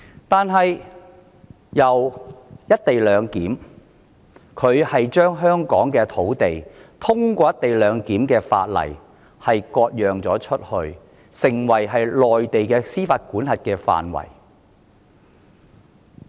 但從"一地兩檢"開始，她透過"一地兩檢"的條例割出香港土地，納入內地的司法管轄範圍。